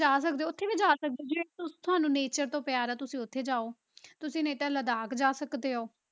ਜਾ ਸਕਦੇ ਹੋ ਉੱਥੇ, ਉੱਥੇ ਵੀ ਜਾ ਸਕਦੇ ਜੇ ਤਾਂ ਤੁਹਾਨੂੰ nature ਤੋਂ ਪਿਆਰ ਆ ਤੁਸੀਂ ਉੱਥੇ ਜਾਓ, ਤੁਸੀਂ ਨਹੀਂ ਤਾਂ ਲਦਾਖ ਜਾ ਸਕਦੇ ਹੋ।